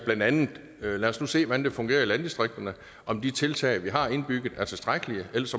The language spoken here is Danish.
blandt andet siger lad os nu se hvordan det fungerer i landdistrikterne og om de tiltag vi har indbygget er tilstrækkelige og ellers